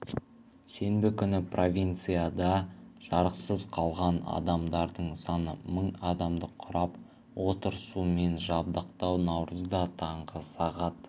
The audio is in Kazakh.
сенбі күні провинцияда жарықсыз қалған адамдардың саны мың адамды құрап отыр сумен жабдықтау наурызда таңғы сағат